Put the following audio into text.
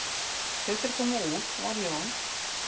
Þegar þeir komu út var Jón